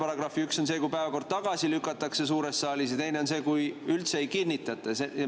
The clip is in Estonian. Üks on selle kohta, kui päevakord suures saalis tagasi lükatakse, ja teine on selle kohta, kui seda üldse ei kinnitata.